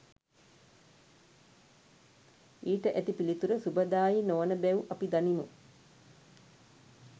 ඊට ඇති පිළිතුර සුබදායී නොවන බැව් අපි දනිමු